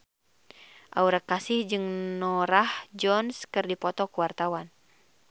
Aura Kasih jeung Norah Jones keur dipoto ku wartawan